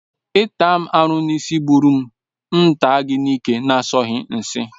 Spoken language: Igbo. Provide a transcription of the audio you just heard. Ịta m aru n'isi asọghi ụbụrụ, m ga-ata gị n'ike asọghi nshi